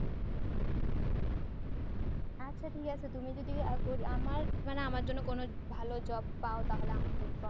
আচ্ছা ঠিক আছে তুমি যদি আমার আমার জন্য কোনো ভালো job পাও তাহলে আমাকে inform